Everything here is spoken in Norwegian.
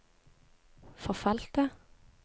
forfalte